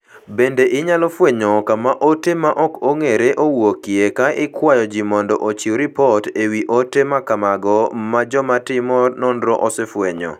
Bende inyalo fwenyo kama ote ma ok ong'ere owuokie ka ikwayo ji mondo ochiw ripot e wi ote ma kamago ma jotim nonro osefwenyo.